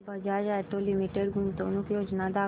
Bajaj auto limited गुंतवणूक योजना दाखव